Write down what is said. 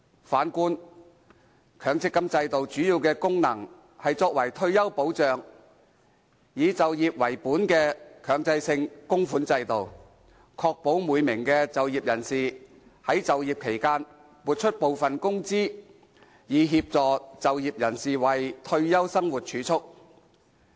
反觀強積金制度，主要的功能是作為退休保障，以就業為本的強制性供款制度，確保每名就業人士在就業期間撥出部分工資，以協助就業人士為退休生活儲蓄。